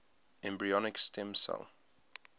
embryonic stem cell